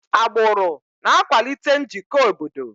Agbụrụ na-akwalite njikọ obodo.